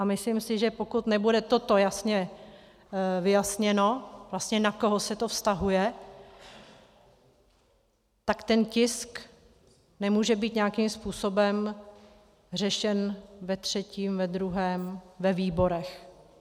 A myslím si, že pokud nebude toto jasně vyjasněno, vlastně na koho se to vztahuje, tak ten tisk nemůže být nějakým způsobem řešen ve třetím, ve druhém, ve výborech.